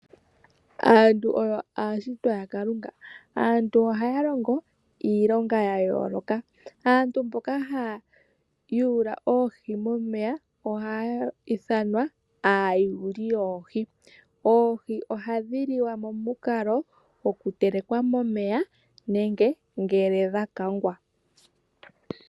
Aantu oyo aashitwa yaKalunga ohaya longo iilonga ya yooloka. Aantu mboka haya yuula oohi momeya ohayi ithanwa aayuli yoohi . Oohi ohadhi liwa momukalo gokutelekwa momeya nenge ngele dha kangwa.